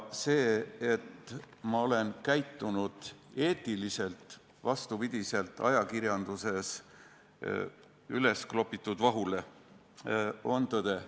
See, et ma olen käitunud eetiliselt, vastupidi sellele, mida väidab ajakirjandus vahtu üles kloppides, on tõde.